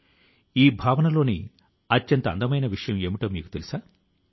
ఆ ప్రతిభా మూర్తుల సృజనాత్మకత ఇతరులను కూడాను ఏదైనా చేయడానికి ప్రేరేపిస్తుంది